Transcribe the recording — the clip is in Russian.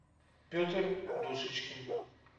петр душечкин